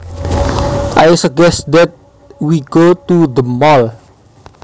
I suggest that we go to the mall